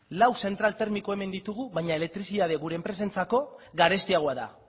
lau zentral termiko hemen ditugu baina elektrizitatea gure enpresentzako garestiagoa da